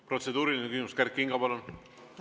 Protseduuriline küsimus, Kert Kingo, palun!